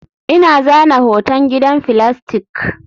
Ina zana hoton gidan filastik